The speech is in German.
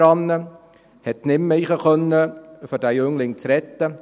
Er konnte nicht mehr hineingehen, um den Jungen zu retten.